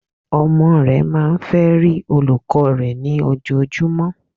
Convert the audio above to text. Ọmọ re máa n fe rí olùkó rè ní ojojú, mó